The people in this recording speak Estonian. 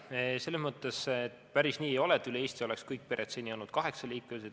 Selles mõttes päris nii ei ole, et üle Eesti oleks kõik pered seni olnud kaheksaliikmelised.